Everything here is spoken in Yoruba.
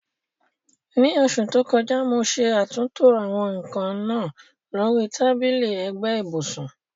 Ní oṣù tó kọjá, mo ṣe àtúntò àwọn nkan náà lórí tábìlì ẹ̀gbẹ́ ibùsùn.